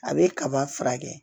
A bɛ kaba furakɛ